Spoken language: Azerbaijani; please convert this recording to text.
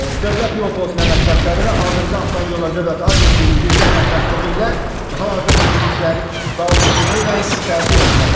Dövlət yol polisinin əməkdaşları və Azərbaycan Avtomobil Yolları Dövlət Agentliyinin birgə əməkdaşlığı ilə hal-hazırda təmizlik işləri davam etdirilir və heç bir təhlükə yoxdur.